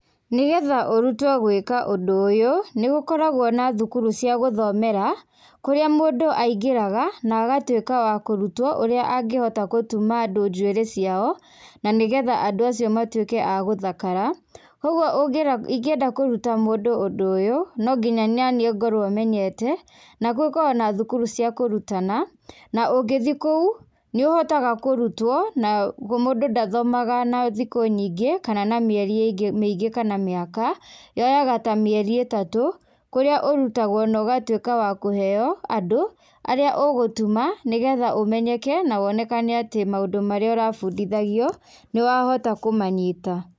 Nĩgetha ũrutwo gwĩka ũndũ ũyũ, nĩ gũkoragwo na thukuru cia gũthomera kũrĩa mũndũ aingĩraga na agatuĩka wa kũrutwo ũrĩa angĩhota gũtuma andũ njuĩrĩ ciao na nĩgetha andũ acio matũĩke agũthakara. Kwoguo ingĩenda kũruta mũndũ ũndũ ũyũ no ginya naniĩ ngorwo menyete na nĩ gũkoragwo na thukuru cia kurutana na ũngĩthiĩ kũu nĩ ũhotaga kũrutwo na mũndũ ndathomaga na thikũ nyingĩ kana na mĩerĩ mĩingĩ kana mĩaka, yoyaga ta mĩeri ĩtatũ kũrĩa ũrutagwo no ũgatuĩka wa kũheo andũ arĩa ũgũtuma nĩgetha ũmenyeke na wonekane atĩ maũndũ marĩa ũrabundithagio nĩ wahota kũmanyita.